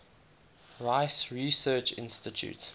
rice research institute